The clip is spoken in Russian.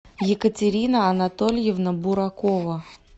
екатерина анатольевна буракова